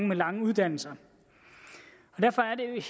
med lange uddannelser og derfor er